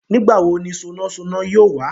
Nígbà wo ni sonásoná yóò wá?